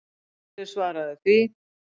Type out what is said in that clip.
Hverju svaraðu því?